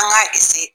An k'a